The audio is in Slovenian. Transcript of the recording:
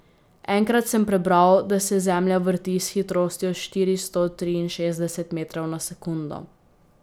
Enkrat sem prebral, da se Zemlja vrti s hitrostjo štiristo triinšestdeset metrov na sekundo.